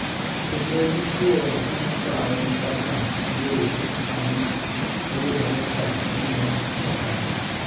kendo dichwo nokawe kaka gay sama oyudore ka omiel Chakacha,